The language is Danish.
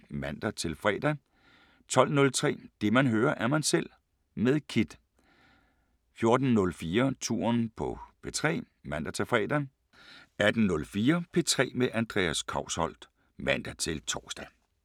06:04: SommerMorgen (man-fre) 09:04: Der er et yndigt land (man-fre) 12:03: Det man hører, er man selv med Kidd 14:04: Touren på P3 (man-fre) 18:04: P3 med Andreas Kousholt (man-tor)